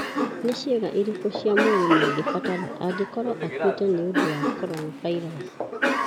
Nĩ ciĩga irĩkũ cia mwĩrĩ mangĩbatara angĩkorwo akuĩte nĩ ũndũ wa coronavirusi?